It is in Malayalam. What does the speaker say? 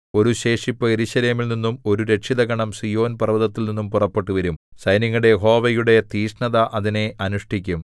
ഒരു ശേഷിപ്പ് യെരൂശലേമിൽ നിന്നും ഒരു രക്ഷിതഗണം സീയോൻ പർവ്വതത്തിൽനിന്നും പുറപ്പെട്ടുവരും സൈന്യങ്ങളുടെ യഹോവയുടെ തീക്ഷ്ണത അതിനെ അനുഷ്ഠിക്കും